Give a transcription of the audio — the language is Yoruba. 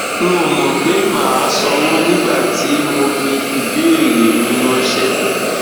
n ò mọ pé màá sanwó nígbà tí mo fi ìbéèrè mi ráńṣẹ